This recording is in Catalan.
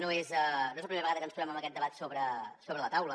no és la primera vegada que ens trobem amb aquest debat sobre la taula